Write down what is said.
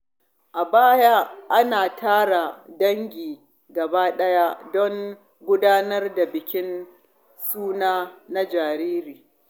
A baya, ana tara dangi gaba ɗaya don gudanar da bikin suna na jariri.